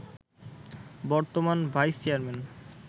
বর্তমান vice chairman